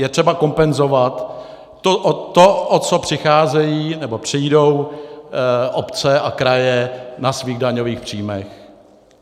Je třeba kompenzovat to, o co přicházejí nebo přijdou obce a kraje na svých daňových příjmech.